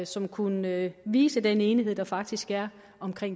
som kunne vise den enighed der faktisk er om